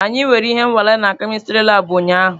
Anyị nwere ihe nwale na kemistri labụ ụnyaahụ.